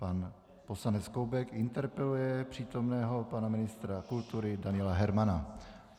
Pan poslanec Koubek interpeluje přítomného pana ministra kultury Daniela Hermana.